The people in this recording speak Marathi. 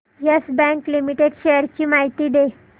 येस बँक लिमिटेड शेअर्स ची माहिती दे